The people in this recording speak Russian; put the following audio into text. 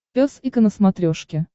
пес и ко на смотрешке